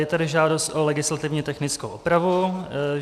Je tady žádost o legislativně technickou opravu.